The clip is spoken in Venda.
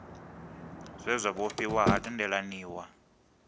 zwe zwa vhofhiwa ha tendelaniwa